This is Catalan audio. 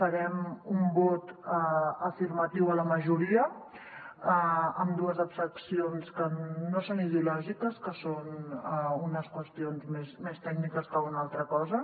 farem un vot afirmatiu a la majoria amb dues excepcions que no són ideològiques que són unes qüestions més tècniques que una altra cosa